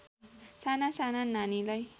साना साना नानीलाई